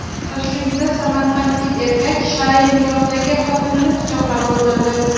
Toshkentda samarqandlik erkak shar’iy nikohdagi xotinini pichoqlab o‘ldirdi.